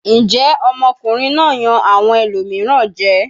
Njẹ́ ọmọkùnrin náà yan awọn ẹlòmíràn jẹ?